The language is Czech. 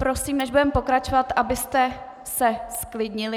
Prosím, než budeme pokračovat, abyste se zklidnili.